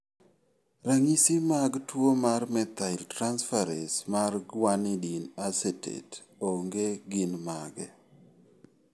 Ranyisi mag tuo mar methyltransferase mar guanidinoacetate onge gin mage?